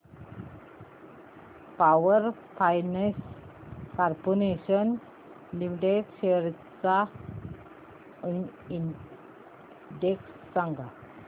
power finance corporation limited shares चा index सांगा